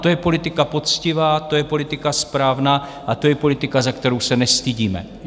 To je politika poctivá, to je politika správná a to je politika, za kterou se nestydíme.